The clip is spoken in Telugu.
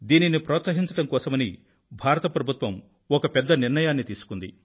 దీనిని ప్రోత్సహించడం కోసమని భారత ప్రభుత్వం ఒక పెద్ద నిర్ణయాన్ని తీసుకుంది